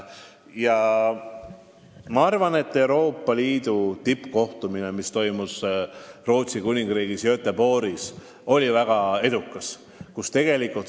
Ma arvan, et Euroopa Liidu tippkohtumine, mis toimus Rootsis Göteborgis, oli väga edukas.